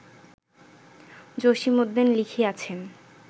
Jasimuddin লিখিয়াছেন